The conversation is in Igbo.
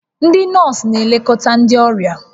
Ndị nọọsụ na-elekọta ndị ọrịa